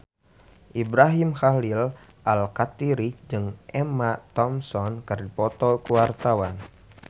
Ibrahim Khalil Alkatiri jeung Emma Thompson keur dipoto ku wartawan